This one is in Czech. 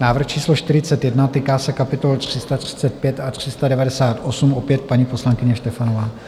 Návrh číslo 41, týká se kapitol 335 a 398, opět paní poslankyně Štefanová.